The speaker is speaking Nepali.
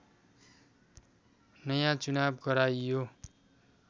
नयाँ चुनाव गराइयो